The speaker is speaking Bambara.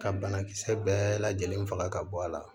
Ka banakisɛ bɛɛ lajɛlen faga ka bɔ a la